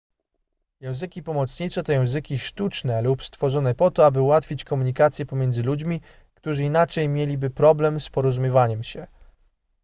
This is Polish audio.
języki pomocnicze to języki sztuczne lub stworzone po to aby ułatwić komunikację pomiędzy ludźmi którzy inaczej mieliby problem z porozumiewaniem się